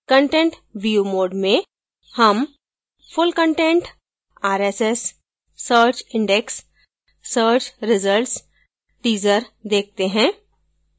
content view mode में हम full content rss search index search results teaser देखते हैं